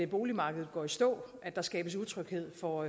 boligmarkedet går i stå at der skabes utryghed for